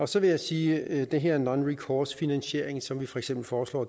så vil jeg sige at det her med nonrecoursefinansiering som vi for eksempel foreslår